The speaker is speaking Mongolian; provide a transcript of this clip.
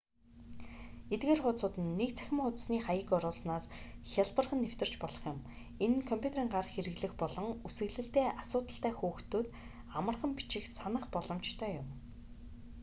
эдгээр хуудсууд нь нэг цахим хуудасны хаяг оруусанаар хялбархан нэвтэрч болох юм энэ нь компьютерын гар хэрэглэх болон үсэглэлдээ асуудалтай хүүхдүүд амархан бичих санах боломжтой юм